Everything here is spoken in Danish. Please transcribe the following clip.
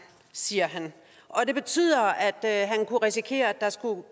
siger han og det betyder at han kunne risikere at der